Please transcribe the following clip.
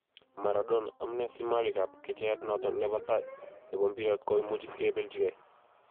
Maradona: amune si malikab kecheiyat noton nebo tai nebo mpiret koimuch kibelchige